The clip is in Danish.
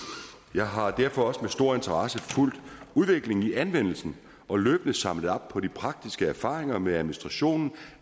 jeg har derfor også med stor interesse fulgt udviklingen i anvendelsen og løbende samlet op på de praktiske erfaringer med administrationen